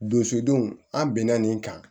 Donsodenw an bɛnna nin kan